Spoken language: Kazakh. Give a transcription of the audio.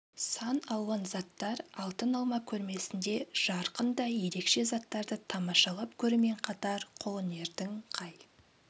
сан алуан заттар алтын алма көрмесінде жарқын да ерекше заттарды тамашалап көрумен қатар қолөнердің қай